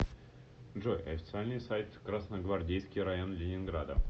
джой официальный сайт красногвардейский район ленинграда